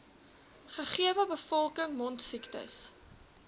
gegewe bevolking mondsiektes